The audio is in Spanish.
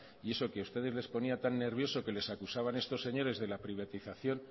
y eso que a ustedes les ponía tan nervioso que les acusaban estos señores de la privatización